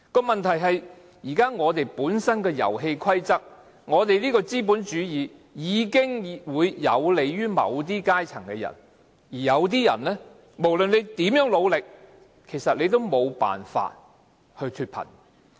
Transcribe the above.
問題是現在本身的遊戲規則下，我們的資本主義已經有利於某些階層的人，而有些人無論如何努力，也無法脫貧。